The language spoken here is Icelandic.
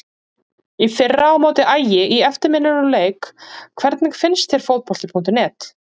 Í fyrra á móti Ægi í eftirminnilegum leik Hvernig finnst þér Fótbolti.net?